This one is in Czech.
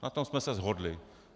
Na tom jsme se shodli.